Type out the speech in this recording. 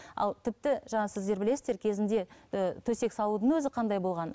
ал тіпті жаңа сіздер білесіздер кезінде ііі төсек салудың өзі қандай болған